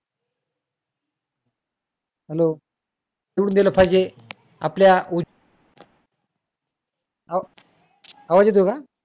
येऊन दिलं पाहिजे आपल्या, आवाज येतोय का?